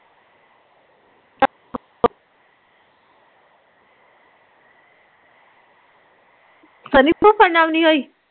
ਸਨੀ ਭੁੱਖੜ ਨਾਲ਼ ਨੀ ਹੋਈ